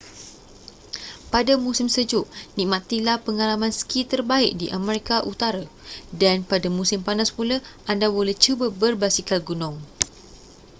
pada musim sejuk nikmatilah pengalaman ski terbaik di amerika utara dan pada musim panas pula anda boleh cuba berbasikal gunung